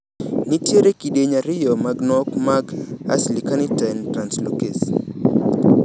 Nitiere kidieny ariyo mag nok mar acylcarnitine translocase.